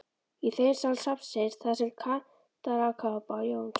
Í þeim sal safnsins, þar sem kantarakápa Jóns